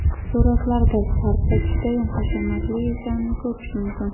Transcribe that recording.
Suratlarda sarpo judayam hashamatli ekanini ko‘rish mumkin.